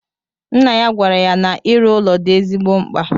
Nna ya gwara ya na iru ụlọ di ezigbo mkpa